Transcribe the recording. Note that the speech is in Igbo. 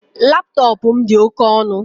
Laptọọpụ m dị oke ọnụ